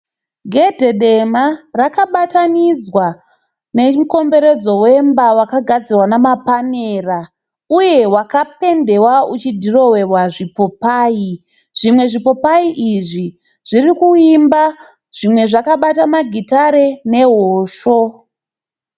Gedhe dema rakabatanidzwa nemukomboredzo wemba wakagadzirwa nemapanera. Uye wakapendewa u uchidhirowewa zvimamapopayi. Zvimapopayi izvi zvirikuimba, zvimwe zvakabata magitare nehosho.